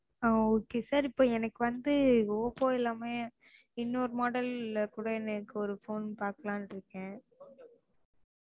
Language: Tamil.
ஆஹ் okay sir இப்போ எனக்கு வந்து oppo இல்லாம இன்னொரு model கூட எனக்கு ஒரு phone பாக்கலானு இருக்கேன்